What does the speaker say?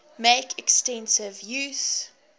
make extensive use